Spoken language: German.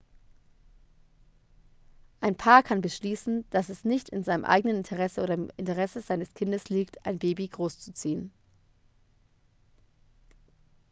ein paar kann beschließen dass es nicht in seinem eigenen interesse oder im interesse seines kindes liegt ein baby großzuziehen